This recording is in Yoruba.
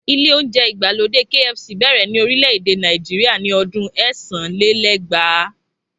Ilé oúnjẹ ìgbàlódé KFC bẹ̀rẹ̀ ni orílẹ̀ èdè Nàìjíríà ni ọdún ẹ́sàn-án-lé-lẹ́gbàá